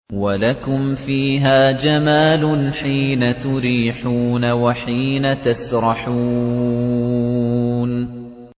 وَلَكُمْ فِيهَا جَمَالٌ حِينَ تُرِيحُونَ وَحِينَ تَسْرَحُونَ